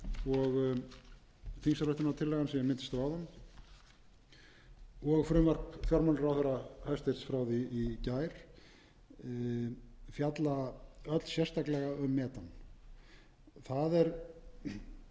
og þingsályktunartillagan sem ég minntist á áðan og frumvarp hæstvirts fjármálaráðherra frá því í gær fjalla öll sérstaklega um metan það er ekki vegna þess